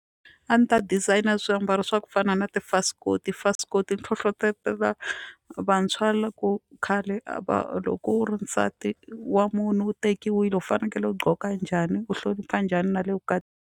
A ni ta designer swiambalo swa ku fana na tifasikoti tifasikoti ni hlohlotelo vantshwa loko khale a va loko u ri nsati wa munhu u tekiwile u fanekele u gqoka njhani u hlonipha njhani na le .